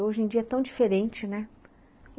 Hoje em dia é tão diferente, né.